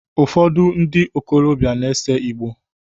Ufodu ndi okolobia na ese Igboo